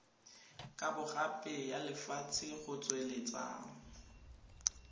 kabogape ya lefatshe go tsweletsa